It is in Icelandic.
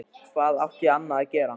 Hvað átti ég annað að gera?